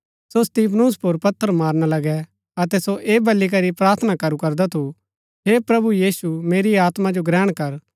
सो स्तिफनुस पुर पत्थर मारना लगै अतै सो ऐह बली करी प्रार्थना करू करदा थू हे प्रभु यीशु मेरी आत्मा जो ग्रहण कर